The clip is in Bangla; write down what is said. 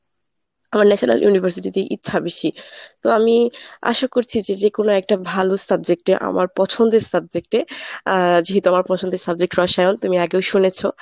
আমার national university তেই ইচ্ছা বেশি, তো আমি আশা করছি যে যেকোনো একটা ভালো subject এ আমার পছন্দের subject এ যেহেতু আমার পছন্দের subject রসায়ন তুমি আগেও শুনেছ।